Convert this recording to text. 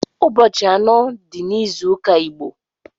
Ụbọchi anọ di n’ịzụụka Igbo